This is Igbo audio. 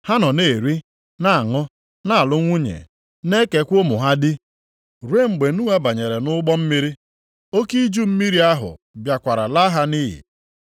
Ha nọ na-eri na-aṅụ, na-alụ nwunye na-ekekwa ụmụ ha di, ruo mgbe Noa banyere nʼụgbọ mmiri. Oke iju mmiri ahụ bịakwara laa ha nʼiyi.